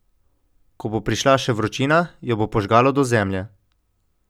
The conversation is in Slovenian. Ko bo prišla še vročina, jo bo požgalo do zemlje.